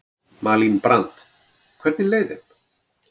Malín Brand: Hvernig leið þeim?